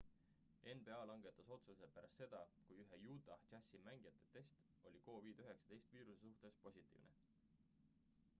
nba langetas otsuse pärast seda kui ühe utah jazzi mängija test oli covid-19 viiruse suhtes positiivne